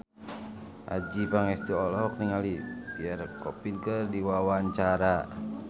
Adjie Pangestu olohok ningali Pierre Coffin keur diwawancara